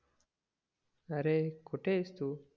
अरे कुठेस तू